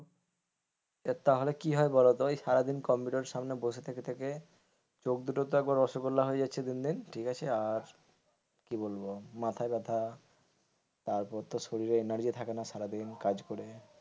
তাহলে কি হয় বলতো ওই সারাদিন কম্পিউটারের সামনে বসে থেকে থেকে চোখ দুটোতো একেবারে রসগোল্লা হয়ে যাচ্ছে দিনদিন ঠিক আছে আর কি বলবো মাথাই ব্যাথা তারপর তো শরীরে energy থাকে না।